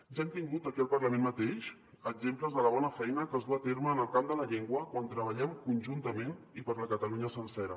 ja hem tingut aquí al parlament mateix exemples de la bona feina que es duu a terme en el camp de la llengua quan treballem conjuntament i per la catalunya sencera